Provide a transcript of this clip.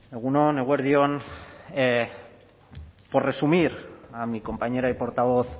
egun on eguerdi on por resumir a mi compañera y portavoz